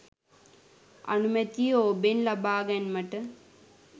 අනුමැතිය ඔබෙන් ලබාගැන්මට